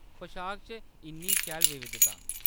पशाक च इन्नी शैल विविधता !